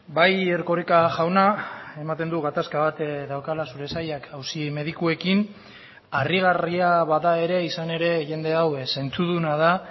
bai erkoreka jauna ematen du gatazka bat daukala zure sailak auzi medikuekin harrigarria bada ere izan ere jende hau zentzuduna da